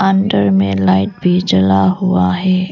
अंदर में लाइट भी जला हुआ है।